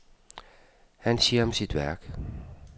Han siger om sit værk.